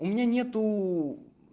у меня нету